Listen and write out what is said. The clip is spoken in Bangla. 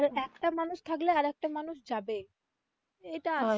আর একটা মানুষ থাকলে আরেকটা মানুষ যাবেই এটা